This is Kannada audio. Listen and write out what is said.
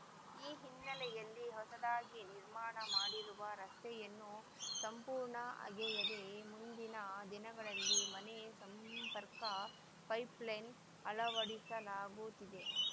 ಈ ಹಿನ್ನೆಲೆಯಲ್ಲಿ ಹೊಸದಾಗಿ ನಿರ್ಮಾಣ ಮಾಡಿರುವ ರಸ್ತೆಯನ್ನು ಸಂಪೂರ್ಣ ಅಗೆಯದೆ ಮುಂದಿನ ದಿನಗಳಲ್ಲಿ ಮನೆ ಸಂಪರ್ಕ ಪೈಪ್‌ಲೈನ್‌ ಅಳವಡಿಸಲಾಗುತ್ತಿದೆ